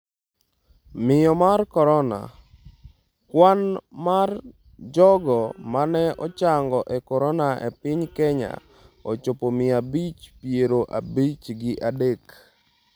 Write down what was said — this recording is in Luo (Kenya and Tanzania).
Miyo mar Korona: Kwan mar jogo mane ochango e korona e piny Kenya ochopo mia abich piero abich gi adek